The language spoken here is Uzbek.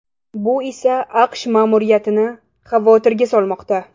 Bu esa AQSh ma’muriyatini xavotirga solmoqda.